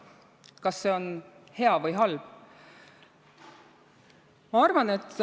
Kas see on hea või halb?